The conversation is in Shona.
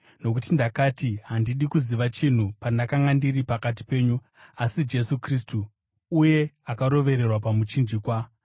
Nokuti ndakati handidi kuziva chinhu pandakanga ndiri pakati penyu, asi Jesu Kristu, uye akarovererwa pamuchinjikwa.